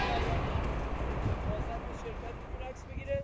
Can Bəyani mühafizət şirkəti çəkiliş eləyə bilər?